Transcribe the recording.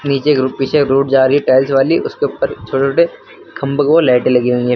पीछे पीछे रोड जा रही है टाइल्स वाली उसके उपर छोटे छोटे खंभों को लाईटे लगी हुई है।